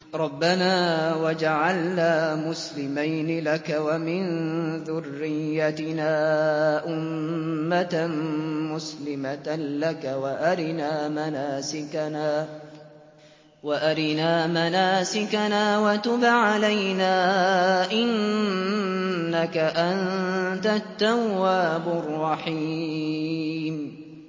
رَبَّنَا وَاجْعَلْنَا مُسْلِمَيْنِ لَكَ وَمِن ذُرِّيَّتِنَا أُمَّةً مُّسْلِمَةً لَّكَ وَأَرِنَا مَنَاسِكَنَا وَتُبْ عَلَيْنَا ۖ إِنَّكَ أَنتَ التَّوَّابُ الرَّحِيمُ